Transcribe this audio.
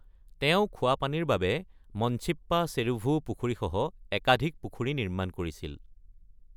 তেওঁ খোৱা পানীৰ বাবে মঞ্চিপ্পা চেৰুভু পুখুৰীসহ একাধিক পুখুৰী নিৰ্মাণ কৰিছিল।